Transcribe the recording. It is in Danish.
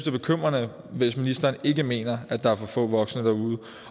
er bekymrende hvis ministeren ikke mener at der er for få voksne derude